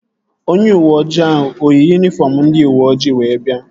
Onye uweojii ahụ eyi yunifọm ndị uweoji wee bịa?